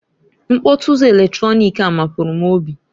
Mkpọtụ ụzọ eletronik a mapụrụ m obi.